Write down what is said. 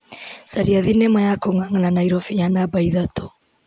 Caria thinema ya kũng'ang'ana Naĩrobĩ ya namba ithatũ.